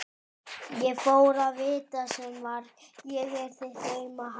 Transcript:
Ég fór að vita sem var: ég er þitt auma haf.